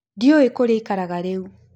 Ndĩũĩ kũrĩa aĩkaraga rĩũ.